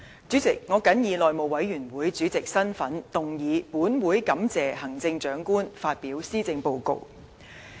主席，我謹以內務委員會主席的身份，動議"本會感謝行政長官發表施政報告"的議案。